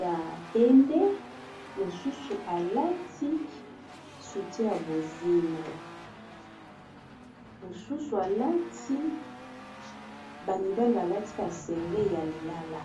ya pembe mosusualati sutie ya bozenamosusualati bamibali balati basengle ya lilala